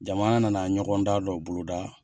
Jamana nana ɲɔgɔn dan dɔ boloda